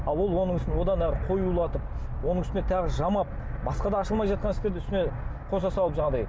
ал ол оның үстіне одан әрі қоюлатып оның үстіне тағы жамап басқа да ашылмай жатқан істерді үстіне қоса салып жаңағыдай